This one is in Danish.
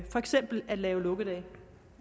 for eksempel at lave lukkedage